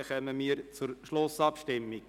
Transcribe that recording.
Wir kommen zur Schlussabstimmung.